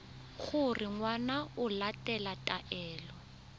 gore ngwana o latela taelo